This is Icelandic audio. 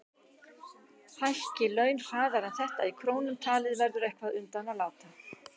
Hækki laun hraðar en þetta í krónum talið verður eitthvað undan að láta.